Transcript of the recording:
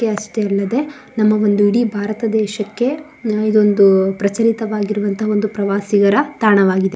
ಇಲ್ಲಿದೆ ನಮ್ಮ ಇಡೀ ಒಂದು ಭಾರತದೇಶಕ್ಕೆ ನಮ್ಮದೊಂದು ಪ್ರಚಲಿತವಾಗಿರುವಂತಹ ಒಂದು ಪ್ರವಾಸಿಗರ ತಾಣವಾಗಿದೆ.